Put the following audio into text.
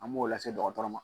An m'o lase dɔgɔtɔrɔ ma.